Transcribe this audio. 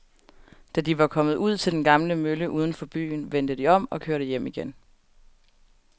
Da de var kommet ud til den gamle mølle uden for byen, vendte de om og kørte hjem igen.